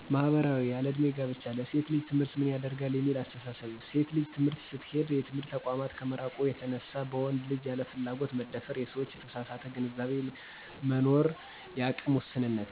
ማህበራዊ :- ያለዕድሜ ጋብቻ፣ ለሴት ልጅ ትምህርት ምን ያደርጋል የሚል አስተሳሰብ፣ ሴት ልጅ ትምህርት ስትሄድ የትምህርት ተቋማት ከመራቁ የተነሳ በወንድ ልጅ ያለ ፍላጎት መደፈር፣ የሰዎች የተሳሳተ ግንዛቤ መኖርፀ፣ የአቅም ውስንነት